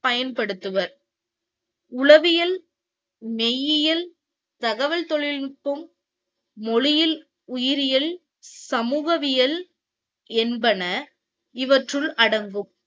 பயன்படுத்துவர் உளவியல் மெய்யியல் தகவல் தொழிலுக்கும், மொழியில், உயிரியல், சமூகவியல் என்பன இவற்றுள் அடங்கும்.